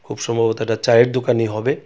খুব সম্ভবত এটা চায়ের দোকানই হবে.